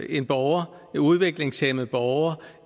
en borger en udviklingshæmmet borger